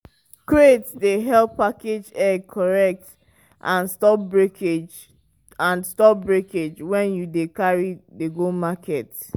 eggs wey spread for dirty ground gats clean am small-small with dry cloth.